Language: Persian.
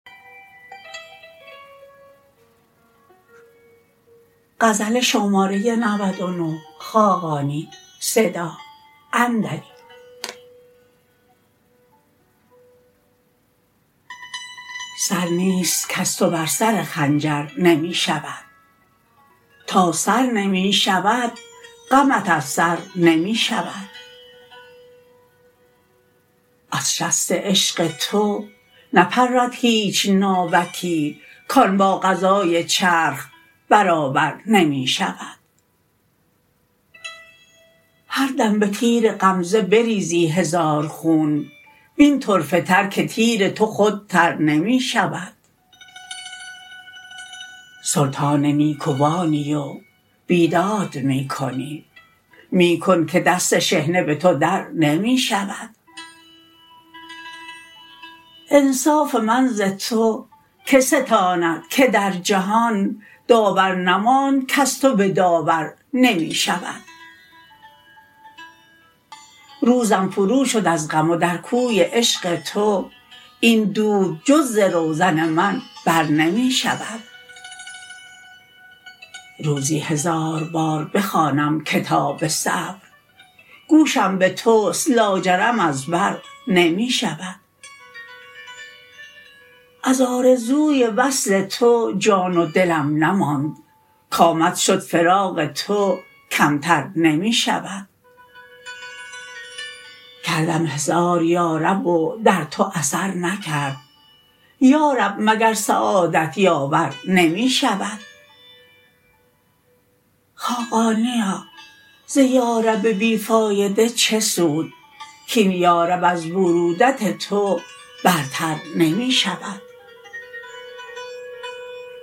سر نیست کز تو بر سر خنجر نمی شود تا سر نمی شود غمت از سر نمی شود از شست عشق تو نپرد هیچ ناوکی کان با قضای چرخ برابر نمی شود هر دم به تیر غمزه بریزی هزار خون وین طرفه تر که تیر تو خود تر نمی شود سلطان نیکوانی و بیداد می کنی می کن که دست شحنه به تو درنمی شود انصاف من ز تو که ستاند که در جهان داور نماند کز تو به داور نمی شود روزم فرو شد از غم و در کوی عشق تو این دود جز ز روزن من بر نمی شود روزی هزار بار بخوانم کتاب صبر گوشم به توست لاجرم از بر نمی شود از آرزوی وصل تو جان و دلم نماند کآمد شد فراق تو کمتر نمی شود کردم هزار یارب و در تو اثر نکرد یارب مگر سعادت یاور نمی شود خاقانیا ز یارب بی فایده چه سود کاین یارب از بروت تو برتر نمی شود